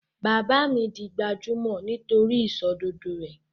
Bàbá mi di gbajúmọ̀ nítori ìsòdodo rẹ̀